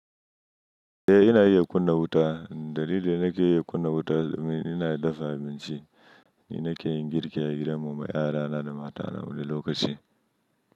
Eh ina iya kunna wuta. Dalilin da nake iya kunna wuta, domin ina dafa abinci, ni nake yin girki a gidan mu ma 'ya'ya na da mata na wani lokaci.